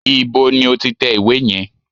Ibo ni o ti tẹ ìwé yẹn?